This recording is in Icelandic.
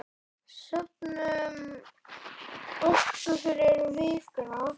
Söfnum orku fyrir vikuna.